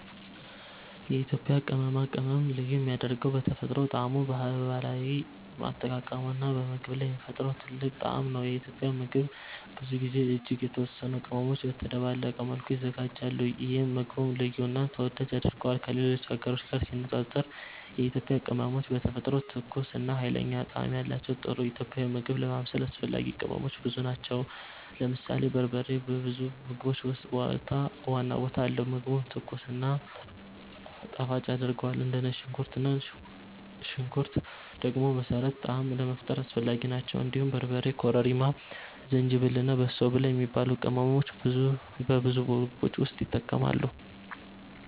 የኢትዮጵያ ቅመማ ቅመም ልዩ የሚያደርገው በተፈጥሮ ጣዕሙ፣ በባህላዊ አጠቃቀሙ እና በምግብ ላይ የሚፈጥረው ጥልቅ ጣዕም ነው። ኢትዮጵያዊ ምግብ ብዙ ጊዜ እጅግ የተወሰኑ ቅመሞች በተደባለቀ መልኩ ይዘጋጃሉ፣ ይህም ምግቡን ልዩ እና ተወዳጅ ያደርገዋል። ከሌሎች ሀገሮች ጋር ሲነጻጸር የኢትዮጵያ ቅመሞች በተፈጥሮ ትኩስ እና ኃይለኛ ጣዕም አላቸው። ለጥሩ ኢትዮጵያዊ ምግብ ማብሰል አስፈላጊ ቅመሞች ብዙ ናቸው። ለምሳሌ በርበሬ በብዙ ምግቦች ውስጥ ዋና ቦታ አለው፣ ምግቡን ትኩስ እና ጣፋጭ ያደርጋል። እንደ ነጭ ሽንኩርት እና ሽንኩርት ደግሞ መሠረታዊ ጣዕም ለመፍጠር አስፈላጊ ናቸው። እንዲሁም በርበሬ፣ ኮረሪማ፣ ዝንጅብል እና በሶ ብላ የሚባሉ ቅመሞች በብዙ ምግቦች ውስጥ ይጠቀማሉ።